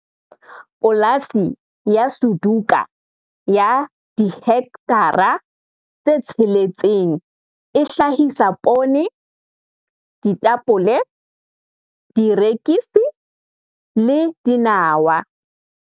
Polasi ya Suduka ya dihekthara tse tsheletseng e hlahisa poone, ditapole, dierekisi le dinawa.